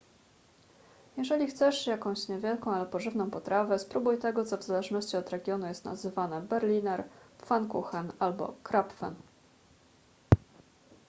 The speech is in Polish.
jeżeli chcesz jakieś niewielką ale pożywną potrawę spróbuj tego co w zależności od regionu jest nazywane berliner pfannkuchen albo krapfen